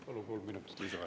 Palun kolm minutit lisaaega.